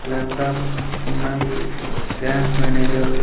Laptops ఉన్నాయి bank manager .